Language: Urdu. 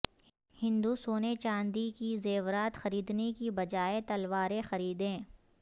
ہندوسونے چاندی کے زیورات خریدنے کی بجائے تلواریں خریدیں